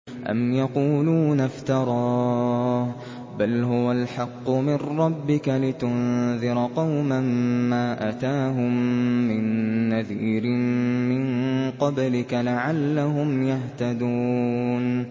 أَمْ يَقُولُونَ افْتَرَاهُ ۚ بَلْ هُوَ الْحَقُّ مِن رَّبِّكَ لِتُنذِرَ قَوْمًا مَّا أَتَاهُم مِّن نَّذِيرٍ مِّن قَبْلِكَ لَعَلَّهُمْ يَهْتَدُونَ